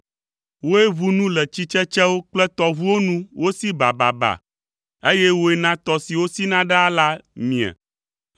Wòe ʋu nu le tsitsetsewo kple tɔʋuwo nu wosi bababa, eye wòe na tɔ siwo sina ɖaa la mie.